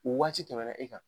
Waati tɛmɛna e kan.